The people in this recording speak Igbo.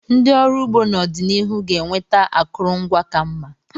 Ndị ọrụ ugbo n'ọdịnihu ga-enweta akụrụngwa ka mma.